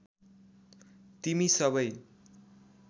तिमी सबै